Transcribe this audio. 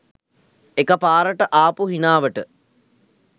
එකපාරට ආපු හිනාවට